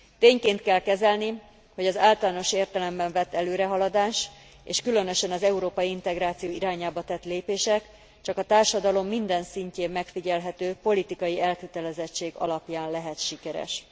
Tényként kell kezelni, hogy az általános értelemben vett előrehaladás és különösen az európai integráció irányába tett lépések csak a társadalom minden szintjén megfigyelhető politikai elkötelezettség alapján lehet sikeres.